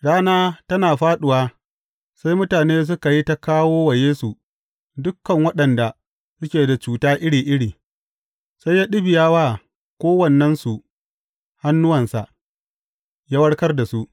Rana tana fāɗuwa, sai mutane suka yi ta kawo wa Yesu dukan waɗanda suke da cuta iri iri, sai ya ɗibiya wa kowannensu hannuwansa, ya warkar da su.